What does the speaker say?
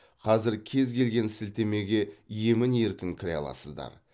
қазір кез келген сілтемеге емін еркін кіре аласыздар